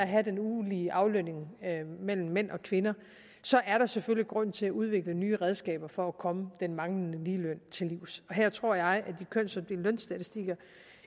have den ulige aflønning mellem mænd og kvinder så er der selvfølgelig grund til at udvikle nye redskaber for at komme den manglende ligeløn til livs og her tror jeg de kønsopdelte lønstatistikker